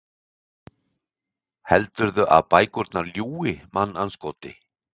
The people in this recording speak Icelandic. Heldurðu að bækurnar ljúgi, mannandskoti?